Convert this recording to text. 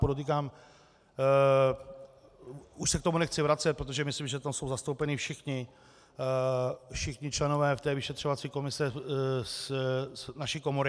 Podotýkám, už se k tomu nechci vracet, protože myslím, že tam jsou zastoupeni všichni členové v té vyšetřovací komisi z naší komory.